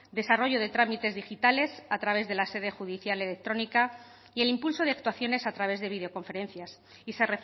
desarrollo de trámites digitales a través de la sede judicial electrónica y el impulso de actuaciones a través de videoconferencias y se